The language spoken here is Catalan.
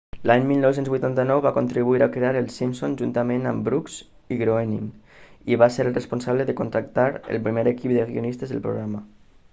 l'any 1989 va contribuir a crear els simpson juntament amb brooks i groening i va ser el responsable de contractar el primer equip de guionistes del programa